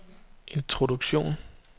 introduktion